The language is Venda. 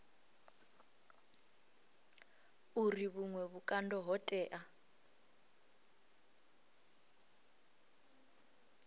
uri vhuṅwe vhukando ho tea